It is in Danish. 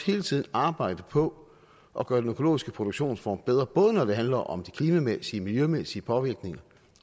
hele tiden arbejde på at gøre den økologiske produktionsform bedre både når det handler om de klimamæssige miljømæssige påvirkninger